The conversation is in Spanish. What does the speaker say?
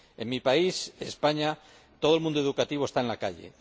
En mi país, España, todo el mundo educativo está en la calle.